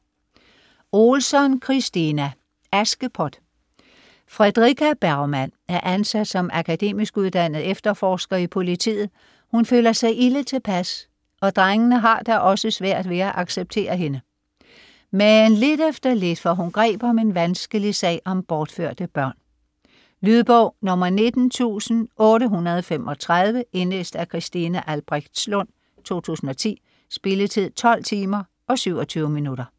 Ohlsson, Kristina: Askepot Fredrika Bergman er ansat som akademisk uddannet efterforsker i politiet, hun føler sig ilde tilpas og "drengene" har da også svært ved at acceptere hende. Men lidt efter lidt får hun greb om en vanskelig sag om bortførte børn. Lydbog 19835 Indlæst af Christine Albrechtslund, 2010. Spilletid: 12 timer, 27 minutter.